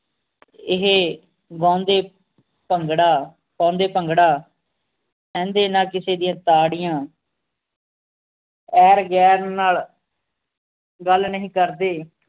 ਇਹ ਗਾਉਂਦੇ ਭੰਗੜਾ ਪਾਉਂਦੇ ਭੰਗੜਾ ਸਹਿੰਦੇ ਨਾ ਕਿਸੇ ਦੀਆਂ ਤਾੜੀਆਂ ਐਰ ਗੈਰ ਨਾਲ ਗੱਲ ਨਹੀਂ ਕਰਦੇ